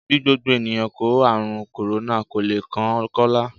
Bí gbogbo ènìyàn kó ààrùn kòrónà, kò le kan Kọ́lá